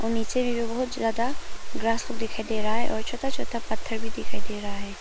और नीचे भी बहुत ज्यादा ग्रास लोग दिखाई दे रहा है और छोटा छोटा पत्थर भी दिखाई दे रहा है।